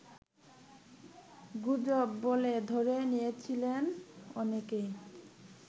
গুজব বলে ধরে নিয়েছিলেন অনেকেই